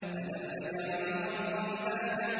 أَلَمْ نَجْعَلِ الْأَرْضَ مِهَادًا